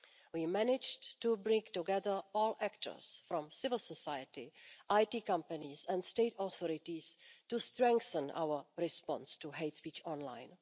We managed to bring together all actors from civil society, IT companies and state authorities to strengthen our response to hate speech online.